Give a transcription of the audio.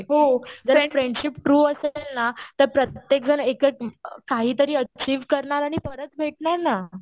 हो जर friendship true असेल ना तर प्रत्येक जण एकच काहीतरी अचिव्ह करणार आणि परत भेटणार ना.